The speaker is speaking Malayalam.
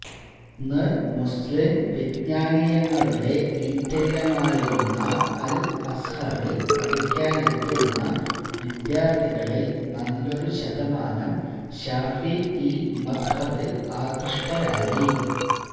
അന്ന് മുസ്ലിം വിജ്ഞാനീയങ്ങളുടെ ഈറ്റില്ലമായിരുന്ന അല് അസ്ഹറില് പഠിക്കാനെത്തുന്ന വിദ്യാര്ഥികളില് നല്ലൊരു ശതമാനം ശാഫിഈ മദ്ഹബില് ആകൃഷ്ടരായി